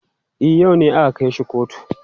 E, a yau ne aka kai shi kotu.